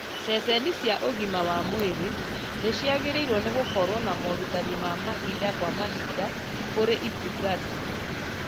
Ceceni cia ũgima wa mwĩrĩ nĩciagĩrĩirwo nĩ gũkorwo na morutani ma mahinda kwa mahinda kũrĩ itungati